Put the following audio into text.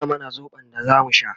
tana mana sobon da zamu sha